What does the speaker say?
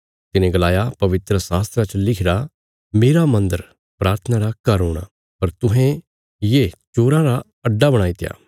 तिने गलाया पवित्रशास्त्रा च लिखिरा मेरा मन्दर प्राथना रा घर हूणा पर तुहें ये चोराँ रा अड्डा बणाईत्या